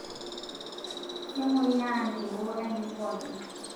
Kemoyia ntewuo ainen pooki